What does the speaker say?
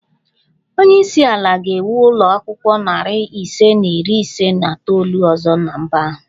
Onye isi ala ga-ewu ụlọ akwụkwọ narị ise na iri ise na itoolu ọzọ na mba ahụ